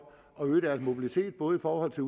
at øge deres mobilitet både i forhold til